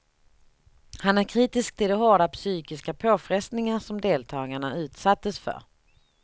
Han är kritisk till de hårda psykiska påfrestningar som deltagarna utsattes för.